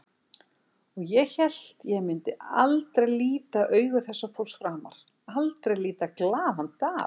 Og ég hélt ég myndi aldrei líta augu þessa fólks framar, aldrei líta glaðan dag.